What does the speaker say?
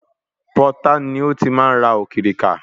Pọtá ni ó ti máa ń ra òkìrìkà.